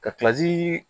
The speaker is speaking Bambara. Ka kilasi